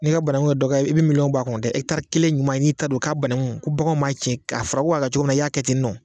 N'i ka banangu ye dɔ kɛ i bi miliyɔn bɔ a kun dɛ ɛkitari kelen ɲuman n'i ta don k'a banangu ko baganw m'a cɛn ka a fɔra ko ka cogo na i y'a kɛ ten nɔ